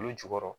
Olu jukɔrɔ